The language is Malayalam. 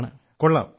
കൊള്ളാം കൊള്ളാം